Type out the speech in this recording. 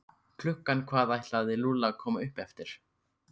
Klukkan hvað ætlaði Lúlli að koma upp eftir?